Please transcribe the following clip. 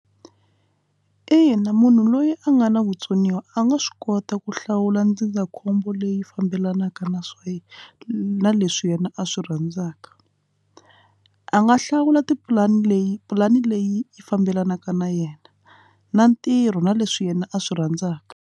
Ina munhu loyi a nga na vutsoniwa a nga swi kota ku hlawula ndzindzakhombo leyi fambelanaka na swa na leswi yena a swi rhandzaka a nga hlawula tipulani leyi pulani leyi yi fambelanaka na yena na ntirho na leswi yena a swi rhandzaka.